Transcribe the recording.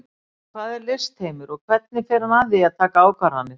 En hvað er listheimur og hvernig fer hann að því að taka ákvarðanir?